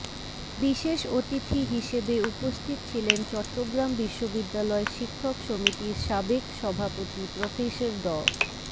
বিশেষ অতিথি হিসেবে উপস্থিত ছিলেন চট্টগ্রাম বিশ্ববিদ্যালয় শিক্ষক সমিতির সাবেক সভাপতি প্রফেসর ড